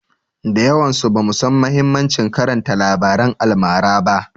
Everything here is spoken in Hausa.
Da yawansu bamu san mahimmancin karanta labaran almara ba.